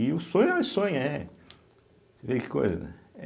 E o sonho é, é. Você vê que coisa, né.